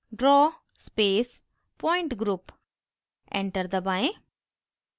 draw pointgroup draw space pointgroup enter दबाएं